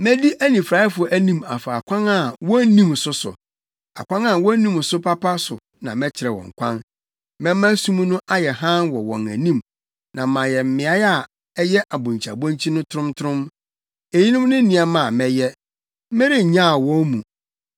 Medi anifuraefo anim afa akwan a wonnim so so, akwan a wonnim so papa so na mɛkyerɛ wɔn kwan. Mɛma sum no ayɛ hann wɔ wɔn anim, na mayɛ mmeae a ɛyɛ abonkyiabonkyi no trontrom. Eyinom ne nneɛma a mɛyɛ; merennyaw wɔn mu.